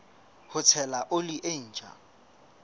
ho tshela oli e ntjha